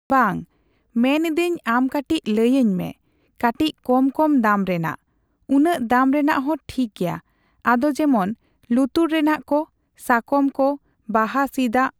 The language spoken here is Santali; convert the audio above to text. ᱵᱟᱝ, ᱢᱮᱱᱤᱫᱟᱹᱧ ᱟᱢ ᱠᱟᱴᱤᱪ ᱞᱟᱹᱭᱟᱹᱧ ᱢᱮ᱾ ᱠᱟᱴᱤᱪ ᱠᱚᱢᱼᱠᱚᱢ ᱫᱟᱢ ᱨᱮᱱᱟᱜ᱾ ᱩᱱᱟᱹᱜ ᱫᱟᱢ ᱨᱮᱱᱟᱜ ᱦᱚᱸ ᱴᱷᱤᱠᱜᱮᱟ᱾ ᱟᱫᱚ ᱡᱮᱢᱚᱱ ᱞᱩᱛᱩᱨ ᱨᱮᱱᱟᱜ ᱠᱮ ᱥᱟᱠᱚᱢ ᱠᱚ, ᱵᱟᱦᱟ ᱥᱤᱫ ᱟᱜ᱾